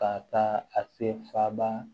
Ka taa a se faba